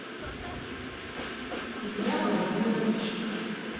илья владимирович